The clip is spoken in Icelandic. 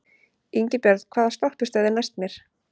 Ingibjörn, hvaða stoppistöð er næst mér?